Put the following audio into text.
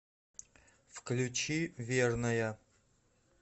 включи верная